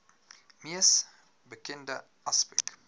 mees bekende aspek